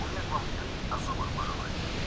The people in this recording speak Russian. у меня к вам три особых пожелания